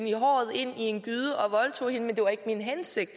i håret ind i en gyde og voldtog hende men det var ikke min hensigt